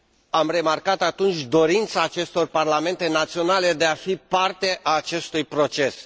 Am remarcat atunci dorința acestor parlamente naționale de a fi parte a acestui proces.